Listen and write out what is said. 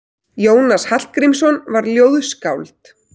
Jónas Hallgrímsson var ljóðskáld.